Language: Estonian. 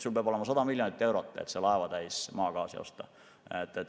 Sul peab olema 100 miljonit eurot, et laevatäis maagaasi osta.